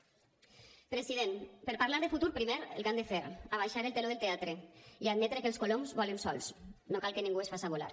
president per a parlar de futur primer el que han de fer abaixar el teló del teatre i admetre que els coloms volen sols no cal que ningú els faça volar